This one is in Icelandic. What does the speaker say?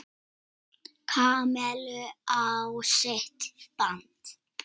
Kamillu á sitt band.